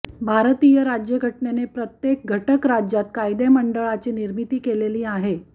भारतीय राज्यघटनेने प्रत्येक घटक राज्यात कायदेमंडळाची निर्मिती केलेली आहे